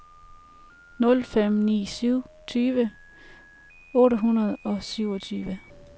nul fem ni syv tyve otte hundrede og syvogtyve